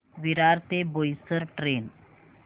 विरार ते बोईसर ट्रेन